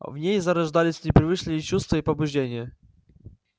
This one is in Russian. в ней зарождались непривычные чувства и побуждения